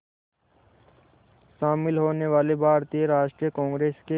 शामिल होने वाले भारतीय राष्ट्रीय कांग्रेस के